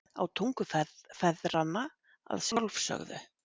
Á tungu feðranna að sjálfsögðu.